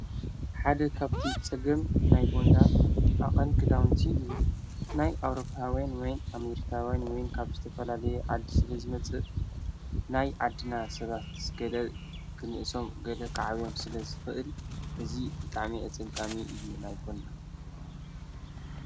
ሓደ ኻብቲ ጸግም ናይ ቦንዳ ኣቐን ክዳውንቲ እዩ ናይ ኣውሮጳወን ወይን ኣሜርካወይን ወይን ካብ ዝተፈላለየ ዓዲ ስለ ዝመጽእ ናይ ዓድና ሰባትስ ገለ ግንእሶም ገለ ኽዓብዮም ስለ ዝፍእል ሕዚ ድጣዕሜ ኣጸጋሚ እዩ ናይ ቦንዳ።